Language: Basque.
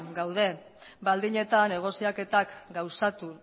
gaude baldin eta negoziaketak gauzatu